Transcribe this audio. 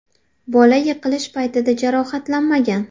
Bola yiqilish paytida jarohatlanmagan.